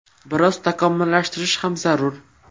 Biroz takomillashtirish ham zarur.